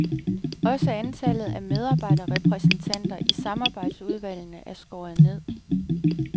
Også antallet af medarbejderrepræsentanter i samarbejdsudvalgene er skåret ned.